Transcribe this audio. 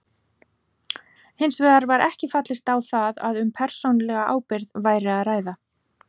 Hins vegar var ekki fallist á það að um persónulega ábyrgð væri að ræða.